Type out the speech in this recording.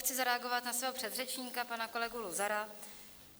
Chci zareagovat na svého předřečníka, pana kolegu Luzara.